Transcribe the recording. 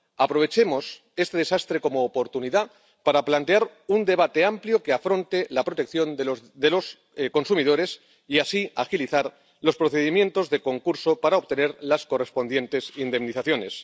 Aprovechemos este desastre como oportunidad para plantear un debate amplio que afronte la protección de los consumidores y así agilizar los procedimientos de concurso para obtener las correspondientes indemnizaciones.